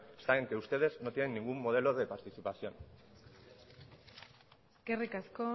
está en que ustedes no tienen ningún modelo de participación eskerrik asko